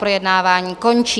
Projednávání končí.